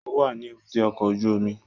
Ó wà ní èbúté ọkọ̀ ojú omi